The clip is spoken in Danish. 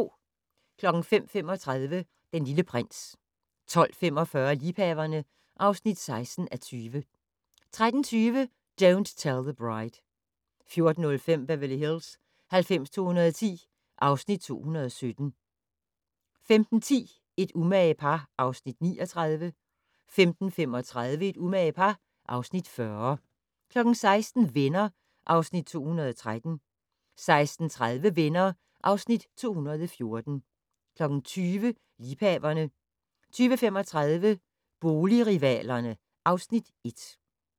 05:35: Den Lille Prins 12:45: Liebhaverne (16:20) 13:20: Don't Tell the Bride 14:05: Beverly Hills 90210 (Afs. 217) 15:10: Et umage par (Afs. 39) 15:35: Et umage par (Afs. 40) 16:00: Venner (Afs. 213) 16:30: Venner (Afs. 214) 20:00: Liebhaverne 20:35: Boligrivalerne (Afs. 1)